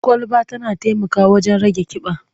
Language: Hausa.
Kwalaba tana taimakawa wajen rage ƙiba.